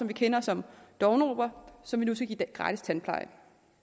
vi kender som dovne robert som vi nu skal give gratis tandpleje